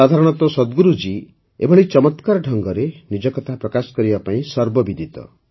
ସାଧାରଣତଃ ସଦ୍ଗୁରୁଜୀ ଏଭଳି ଚମତ୍କାର ଢଙ୍ଗରେ ନିଜ କଥାପ୍ରକାଶ କରିବା ପାଇଁ ସର୍ବବିଦିତ